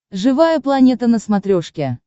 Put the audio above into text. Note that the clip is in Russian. живая планета на смотрешке